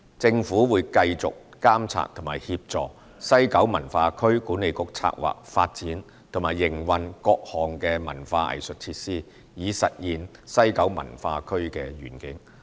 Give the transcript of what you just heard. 政府會繼續監察和協助西九文化區管理局策劃、發展和營運各項文化藝術設施，以實現西九文化區的願景。